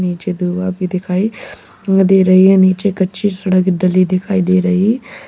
मुझे दुआ भी दिखाई दे रही है नीचे कच्ची सड़क तली दिखाई दे रही।